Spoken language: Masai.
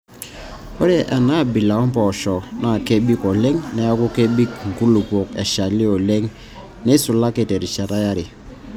Ore enaabila empooshoi naa kebik oleng neeku kebik nkulupuok eshali oleng neisulaki terishata yare.